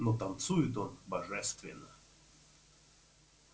но танцует он божественно